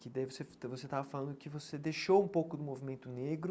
Que daí você você estava falando que você deixou um pouco do movimento negro,